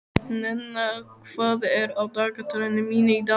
Nenna, hvað er á dagatalinu mínu í dag?